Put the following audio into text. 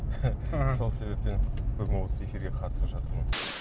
сол себептен бүгін осы эфирге қатысып жатырмын